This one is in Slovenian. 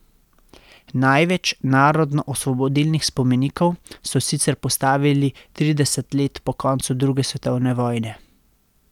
Največ narodnoosvobodilnih spomenikov so sicer postavili trideset let po koncu druge svetovne vojne.